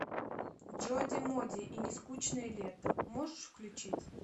джоди моди и нескучное лето можешь включить